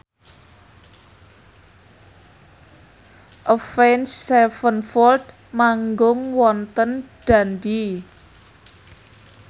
Avenged Sevenfold manggung wonten Dundee